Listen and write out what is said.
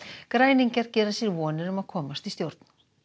græningjar gera sér vonir um að komast í stjórn